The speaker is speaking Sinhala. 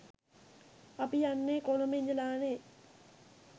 අපි යන්නේ කොළඹ ඉඳලානේ